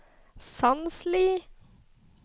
Sandsli